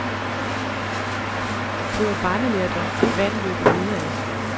Det er jo barnelærdom, at vand løber nedad.